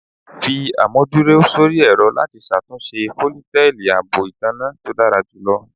Fi amuduro sori ẹrọ lati ṣatunṣe foliteji fun aabo itanna to dara julọ